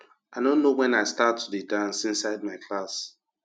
i no know wen i start to dey dance inside my classroom